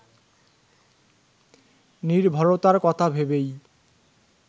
নির্ভরতার কথা ভেবেই